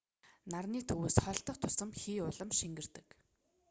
нарны төвөөс холдох тусам хий улам шингэрдэг